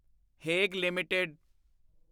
ਹੇਗ LTD